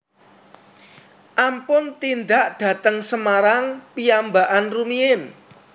Ampun tindak dateng Semarang piyambakan rumiyin